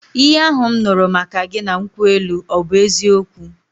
Ihe ahụ m nụrụ maka gị na nkwụ elu ọ bụ eziokwu?